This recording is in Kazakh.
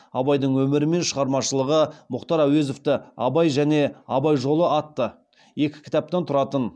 абайдың өмірі мен шығармашылығы мұхтар әуезовті абай және абай жолы атты екі кітаптан тұратын